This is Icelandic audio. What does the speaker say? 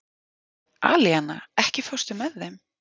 Alíana, ekki fórstu með þeim?